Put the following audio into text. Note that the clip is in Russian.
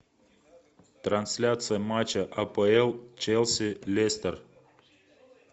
трансляция матча апл челси лестер